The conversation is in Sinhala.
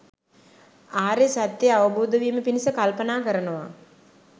ආර්ය සත්‍යය අවබෝධ වීම පිණිස කල්පනා කරනවා.